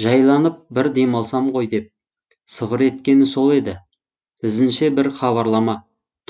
жайланып бір демалсам ғой деп сыбыр еткені сол еді ізінше бір хабарлама